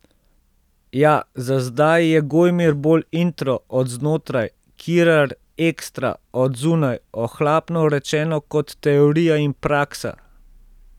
Ja, za zdaj je Gojmir bolj intro, od znotraj, Kirar ekstra, od zunaj, ohlapno rečeno kot teorija in praksa.